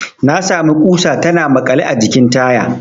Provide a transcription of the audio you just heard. Na sami ƙusa tana makale a jikin taya.